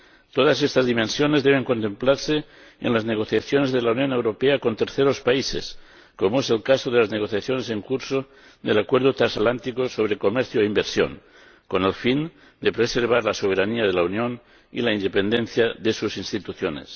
Todas estas dimensiones deben contemplarse en las negociaciones de la Unión Europea con terceros países, como es el caso de las negociaciones en curso del Acuerdo de Asociación Transatlántica para el Comercio y la Inversión, con el fin de preservar la soberanía de la Unión y la independencia de sus instituciones.